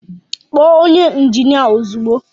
Kpọọ onye injinia ozugbo!